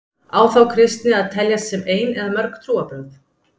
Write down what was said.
Á þá kristni að teljast sem ein eða mörg trúarbrögð?